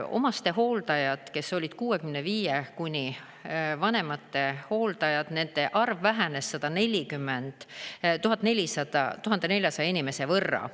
Omastehooldajad, kes olid 65 kuni vanemate hooldajad, nende arv vähenes 1400 inimese võrra.